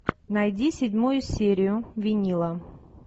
найди седьмую серию винила